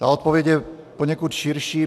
Ta odpověď je poněkud širší.